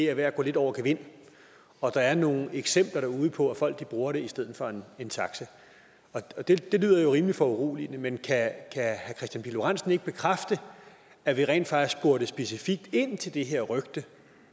er ved at gå lidt over gevind og at der er nogle eksempler derude på at folk bruger det i stedet for en taxa det lyder jo rimelig foruroligende men kan herre kristian pihl lorentzen ikke bekræfte at vi rent faktisk spurgte specifikt ind til det her rygte